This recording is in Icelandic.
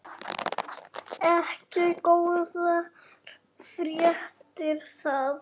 Ekki góðar fréttir það.